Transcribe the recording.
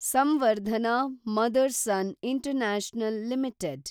Samvardhana Motherson international limited